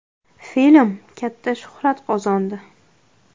Film katta shuhrat qozondi.